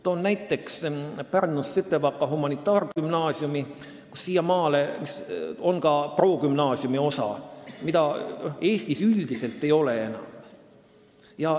Toon näiteks Pärnu Sütevaka Humanitaargümnaasiumi, kus siiamaani on olemas ka progümnaasiumi osa, mida Eestis üldiselt enam ei ole.